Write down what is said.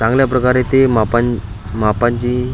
चांगल्या प्रकारे ते मापन मापाची--